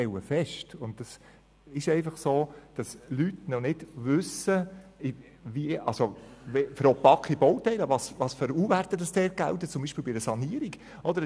Ich stelle fest, und das ist einfach so, dass die Leute, also die Bauherren, zum Beispiel bei einer Sanierung noch nicht wissen, welche Wärmedurchgangskoeffizienten – U-Werte – gelten.